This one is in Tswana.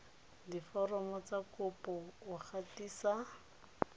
diforomo tsa kopo o gatisa